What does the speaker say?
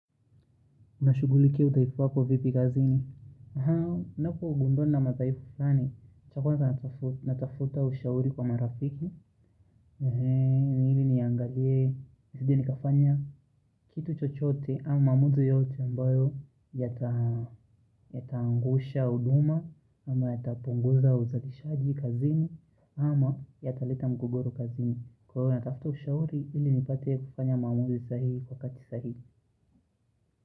Unashugulikia udhaifu wako vipi kazini? Ninapogundua nina madhaifu fani. Cha kwanza natafuta ushauri kwa marafiku. Hili niangalie. Nazidi kufanya. Kitu chochote au maamuzi yote ambayo yataangusha uduma. Ama yatapunguza uzalishaji kazini. Ama yataleta mgogoro kazini. Huwa natafuta ushauri, hili nipate kufanya maamuzi sahihi kwa wakati sahihi.